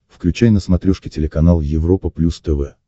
включай на смотрешке телеканал европа плюс тв